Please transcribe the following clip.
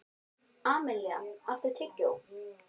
Amilía, áttu tyggjó?